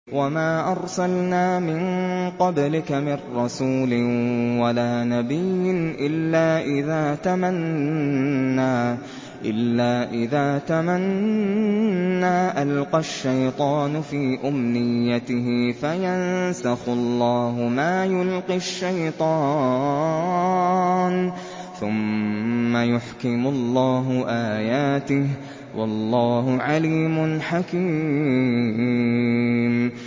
وَمَا أَرْسَلْنَا مِن قَبْلِكَ مِن رَّسُولٍ وَلَا نَبِيٍّ إِلَّا إِذَا تَمَنَّىٰ أَلْقَى الشَّيْطَانُ فِي أُمْنِيَّتِهِ فَيَنسَخُ اللَّهُ مَا يُلْقِي الشَّيْطَانُ ثُمَّ يُحْكِمُ اللَّهُ آيَاتِهِ ۗ وَاللَّهُ عَلِيمٌ حَكِيمٌ